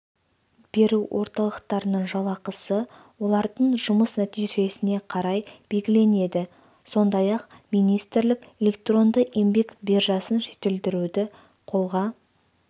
беру орталықтарының жалақысы олардың жұмыс нәтижесіне қарай белгіленеді сондай-ақ министрлік электронды еңбек биржасын жетілдіруді қолға